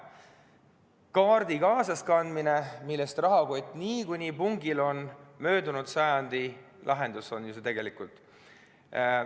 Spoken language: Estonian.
ID-kaardi kaasas kandmine – rahakott on kaartidest niikuinii pungil – on möödunud sajandi lahendus tegelikult.